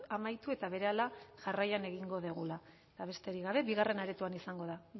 amaitu eta berehala jarraian egingo dugula eta besterik gabe bigarren aretoan izango da